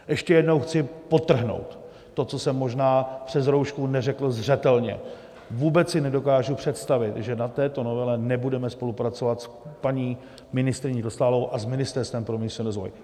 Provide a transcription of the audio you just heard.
Ještě jednou chci podtrhnout to, co jsem možná přes roušku neřekl zřetelně: vůbec si nedokážu představit, že na této novele nebudeme spolupracovat s paní ministryní Dostálovou a s Ministerstvem pro místní rozvoj.